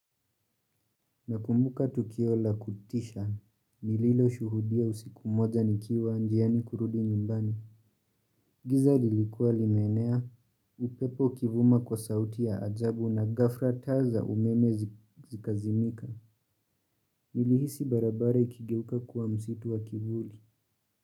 Nakumbuka tukio la kutisha, nililoshuhudia usiku moja nikiwa njiani kurudi nyumbani. Giza likuwa limenea, upepo ukivuma kwa sauti ya ajabu na gafra taa za umeme zikazimika. Nilihisi barabara ikigeuka kuwa msitu wa kivuli.